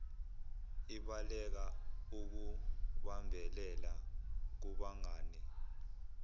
ibaleka ukubambelela kubangane